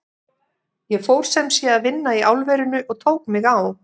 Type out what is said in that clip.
Ég fór sem sé að vinna í álverinu og tók mig á.